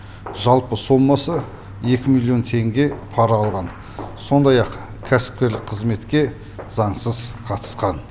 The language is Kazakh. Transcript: жалпы сомасы екі миллион теңге пара алған сондай ақ кәсіпкерлік қызметке заңсыз қатысқан